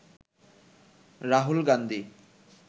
Rahul Gandhi